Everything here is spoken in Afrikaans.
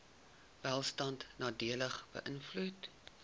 welstand nadelig beïnvloed